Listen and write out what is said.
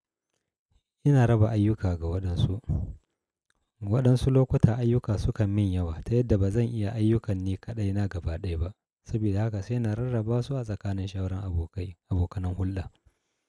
Ina raba ayyuka ga waɗansu. Waɗansu lokuta ayyuka sukan min yawa, ta yadda ba zan iya ayyukanni kaɗai na gaba ɗaya ba. Sabida haka sai na rarraba su a tsakanin shauran abokai, abokanan hulɗa.